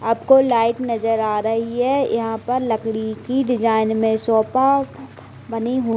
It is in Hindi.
आपको लाइट नजर आ रही है यहाँ पर लड़की की डिज़ाइन में सोफा बनी हुई --